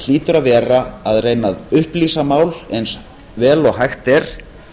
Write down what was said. hlýtur að vera að reyna að upplýsa mál eins vel og hægt er